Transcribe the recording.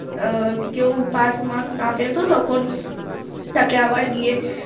আহ কেউ pass mark না পেতো তাকে আবার গিয়ে